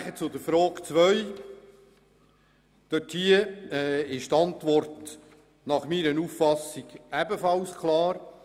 Dann zur Frage 2: Dort ist die Antwort aus meiner Sicht ebenfalls klar.